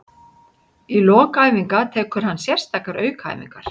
Í lok æfinga tekur hann sérstakar aukaæfingar.